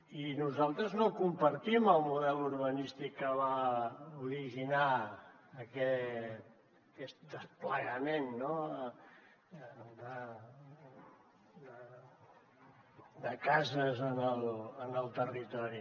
i nosaltres no compartim el model urbanístic que va originar aquest desplegament de cases en el territori